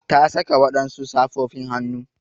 Ta saka wadansu safofin hannu.